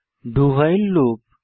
do while loop